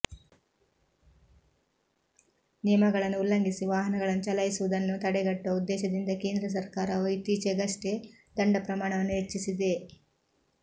ನಿಯಮಗಳನ್ನು ಉಲ್ಲಂಘಿಸಿ ವಾಹನಗಳನ್ನು ಚಲಾಯಿಸುವುದನ್ನು ತಡೆಗಟ್ಟುವ ಉದ್ದೇಶದಿಂದ ಕೇಂದ್ರ ಸರ್ಕಾರವು ಇತ್ತೀಚಿಗಷ್ಟೇ ದಂಡ ಪ್ರಮಾಣವನ್ನು ಹೆಚ್ಚಿಸಿದೆ